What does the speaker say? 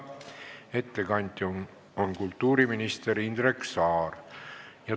Ettekandja on kultuuriminister Indrek Saar.